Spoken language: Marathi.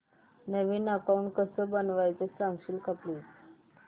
नवीन अकाऊंट कसं बनवायचं सांगशील का प्लीज